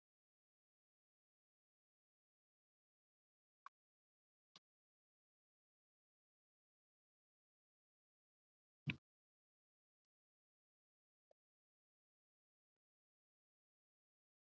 Guðný: Myndir þú fjárfesta í íslensku fyrirtæki?